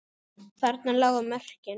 Þarna lágu mörkin.